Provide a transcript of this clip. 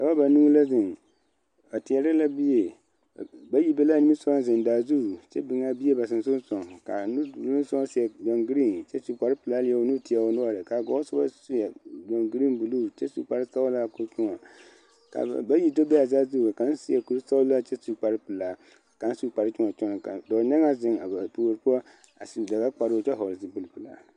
Dɔbɔ banuu la zeŋ ba teɛrɛ la bie bayi be la a niŋe soɡa zeŋ daa zu kyɛ biŋ a bie ba senseelensoɡaŋ ka a nudoloŋ soba seɛ ɡyɔɡeree kyɛ su kparpelaa leɛ o nu teɛ o noɔre ka a ɡɔɔsoba seɛ ɡyɔɡeree buluu kyɛ su kparsɔɡelaa ka o tõɔ ka ba bayi do be a saazu ka kaŋ seɛ kursɔɡelaa kyɛ su kparpelaa kparkyõɔnɔkyoɔnɔ ka dɔɔnyaŋaa zeŋ a ba puori poɔ a su daɡakparoo kyɛ vɔɔl zupilpelaa .